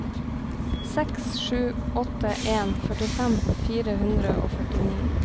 seks sju åtte en førtifem fire hundre og førtini